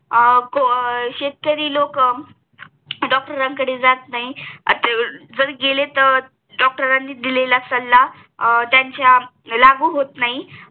शेतकरी लोक डॉक्टरांकडे जात नाही जर गेले तेर डॉक्टरांनी दिलेला सल्ला त्यांच्या अं कडे लागू होत नाही